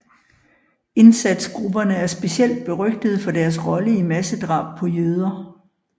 Indsatsgrupperne er specielt berygtede for deres rolle i massedrab på jøder